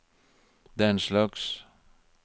denslags